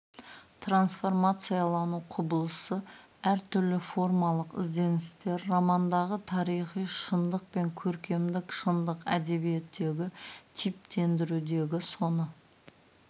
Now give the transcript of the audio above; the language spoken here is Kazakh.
трансформациялану құбылысы әр түрлі формалық ізденістер романдағы тарихи шындық пен көркемдік шындық әдебиеттегі типтендірудегі соны